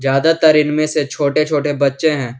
ज्यादातर इनमें से छोटे छोटे बच्चे हैं।